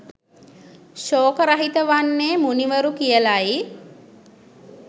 ශෝක රහිත වන්නේ මුනිවරු කියලයි.